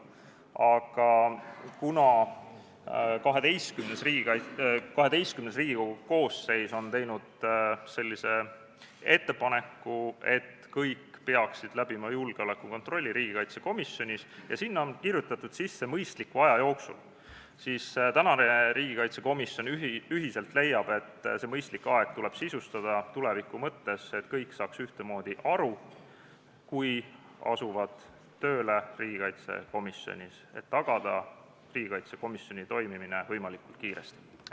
Aga kuna XII Riigikogu koosseis on teinud ettepaneku, et kõik riigikaitsekomisjoni liikmed peaksid läbima julgeolekukontrolli, ja sellesse on sisse kirjutatud "mõistliku aja jooksul", siis leiab tänane riigikaitsekomisjon ühiselt, et "mõistlik aeg" tuleb tuleviku jaoks sisustada, et kõik saaksid sellest ühtemoodi aru, kui asuvad tööle riigikaitsekomisjonis, ja et riigikaitsekomisjoni toimimine oleks võimalikult kiiresti tagatud.